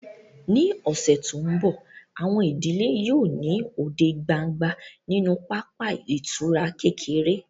Ní ọ̀sẹ̀ tó ń bọ̀, àwọn ìdílé yóò ní òde gbangba nínú pápá ìtura kékeré